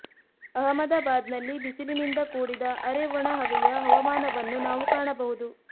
ಅಹಮದಾಬಾದ್ನಲ್ಲಿ ಬಿಸಿಲಿನಿಂದ ಕೂಡಿದ ಅರೆ ಒಣ ಹವೆಯ ಹವಾಮಾನವನ್ನು ನಾವು ಕಾಣಬಹುದು